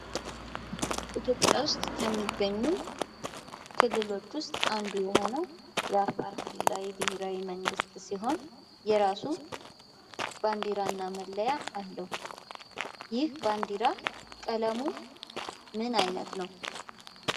ኢትዮጵያ ውስጥ ከሚገኙ ክልሎች ውስጥ አንዱ የሆነው የአፋር ክልላዊ ብሄራዊ መንግስት ሲሆን የራሱ ባንዲራና መለያ አለዉ። ይህ ባንዲራ ቀለሙ ምን አይነት ነው?